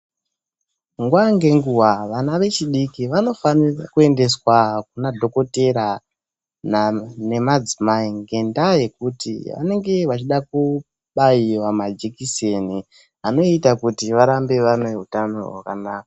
Nguva ngenguva vana vechidiki vanofana kuendeswa kuna dhokodheya nemadzimai ngendaa yekuti vanenge vachida kubairwa majekiseni anoita kuti varambe vane hutano hwakanaka.